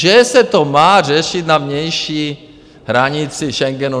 Že se to má řešit na vnější hranici Schengenu.